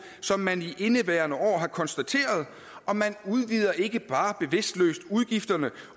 som man i indeværende år har konstateret og man udvider ikke bare bevidstløst udgifterne